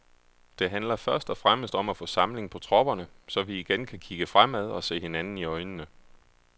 Det handler først og fremmest om at få samling på tropperne, så vi igen kan kigge fremad og se hinanden i øjnene.